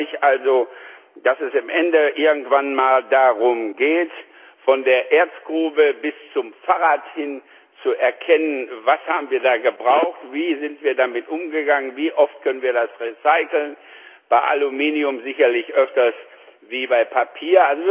Ich freue mich also, dass es am Ende irgendwann mal darum geht, von der Erzgrube bis zum Fahrrad hin zu erkennen Was haben wir da gebraucht, wie sind wir damit umgegangen, wie oft können wir das recyceln bei Aluminium sicherlich öfter als bei Papier.